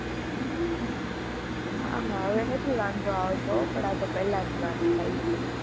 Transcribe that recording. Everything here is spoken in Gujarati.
હા હા હવે નથી વાંધો આવતો પણ આતો પેલા ની વાત થાય છે.